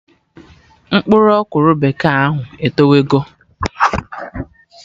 Mkpụrụ ọkwụrụ bekee ahụ etowe go